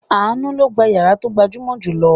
Àánú ló gba ìyàrá tó gbajúmọ̀ jù lọ.